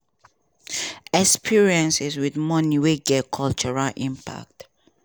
experiences wit money wey get cultural impact.